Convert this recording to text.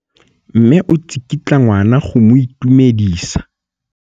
Mme o tsikitla ngwana go mo itumedisa.